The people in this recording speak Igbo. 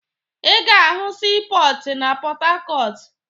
Ị ga-ahụ siipọọtụ na Pọtakọọtụ